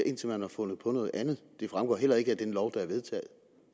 indtil man har fundet på noget andet det fremgår heller ikke af den lov der er vedtaget